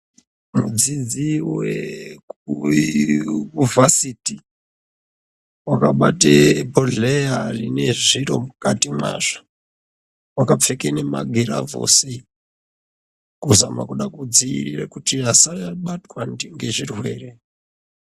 Vadzidzi vekuyunivhediti, vakabate bhodhleya time zviro mukati mwazvo vakapfeka memagirovhosi, kuzama kuda kudzivirire kuti asabatwa ngezvirwere.